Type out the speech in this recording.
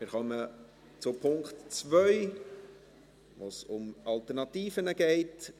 Wir kommen zum Punkt 2, bei dem es um Alternativen geht.